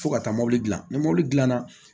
Fo ka taa mobili gilan ni mɔbili dilanna